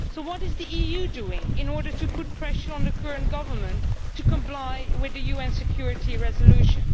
So what is the EU doing in order to put pressure on the current government to comply with the UN security resolution?